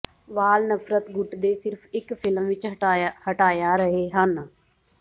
ਵਾਲ ਨਫ਼ਰਤ ਗੁੱਟ ਦੇ ਸਿਰਫ ਇੱਕ ਫ਼ਿਲਮ ਵਿੱਚ ਹਟਾਇਆ ਰਹੇ ਹਨ